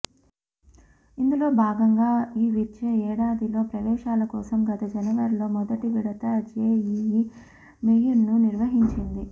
ఇందులో భాగంగా ఈ విద్యా ఏడాదిలో ప్రవేశాల కోసం గత జనవరిలో మెుదటి విడత జేఈఈ మెయిన్ను నిర్వహించింది